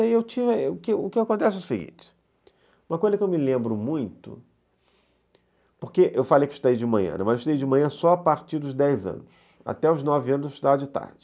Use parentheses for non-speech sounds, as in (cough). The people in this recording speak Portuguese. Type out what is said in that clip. (unintelligible) E o que o que acontece é o seguinte, uma coisa que eu me lembro muito, porque eu falei que eu estudei de manhã, mas eu estudei de manhã só a partir dos dez anos, até os nove anos eu estudava de tarde.